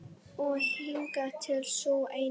Og hingað til sú eina.